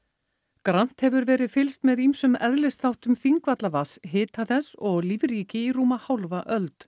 grannt hefur verið fylgst með ýmsum Þingvallavatns hita þess og lífríki í rúma hálfa öld